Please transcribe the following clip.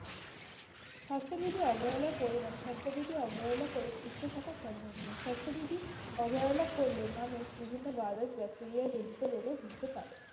স্বাস্থ্যবিধি অবহেলার পরিমান - স্বাস্থ্যবিধি অবহেলা করে সুস্থ থাকা সম্ভব নয়। স্বাস্থ্যবিধি অবহেলা করলে মানুষ বিভিন্ন virus, bacteria জনিত রোগে ভুগতে পারে।